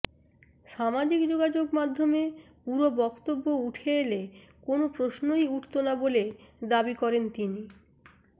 সামাজিক যোগযোগ মাধ্যমে পুরো বক্তব্য উঠে এলে কোনো প্রশ্নই উঠতো না বলে দাবি করেন তিনি